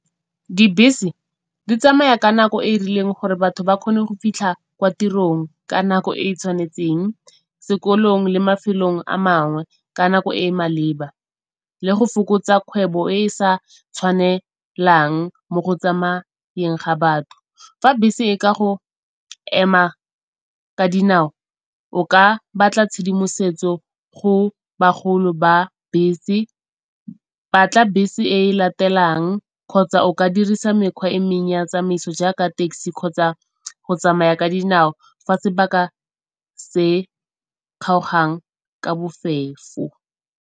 Dibese di tsamaya ka nako e e rileng gore batho ba kgone go fitlha kwa tirong ka nako e e tshwanetseng, sekolong le mafelong a mangwe ka nako e e maleba le go fokotsa kgwebo e e sa tshwanelang mo go tsamayeng ga batho. Fa bese e ka go ema ka dinao o ka batla tshedimosetso go bagolo ba bese. Batla bese e e latelang kgotsa o ka dirisa mekgwa e mengwe ya tsamaiso jaaka taxi kgotsa go tsamaya ka dinao fa sebaka se kgaogang ka bofefo.